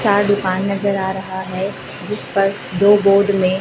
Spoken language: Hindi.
चार दुकान नजर आ रहा है जिस पर दो बोर्ड में--